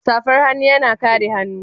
safar hannu yana kare hannun